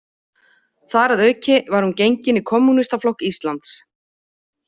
Þar að auki var hún gengin í Kommúnistaflokk Íslands.